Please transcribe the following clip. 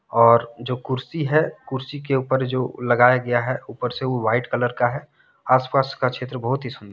और जो कुर्सी है कुर्सी के उपर जो लगाया गया है उपर से वो वाइट कलर का है आस पास का चित्र बहुत ही सुन--